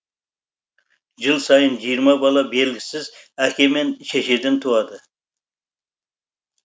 жыл сайын жиырма бала белгісіз әке мен шешеден туады